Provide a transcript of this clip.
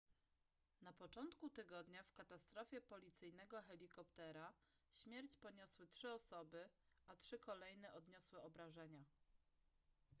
na początku tygodnia w katastrofie policyjnego helikoptera śmierć poniosły trzy osoby a trzy kolejne odniosły obrażenia